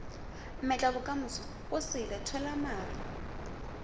mmetlabokamoso go sele tshwela mare